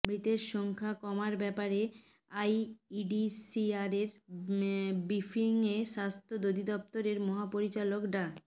মৃতের সংখ্যা কমার ব্যাপারে আইইডিসিআরের ব্রিফিংয়ে স্বাস্থ্য অধিদপ্তরের মহাপরিচালক ডা